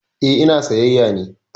Eh, ina sayyaya ne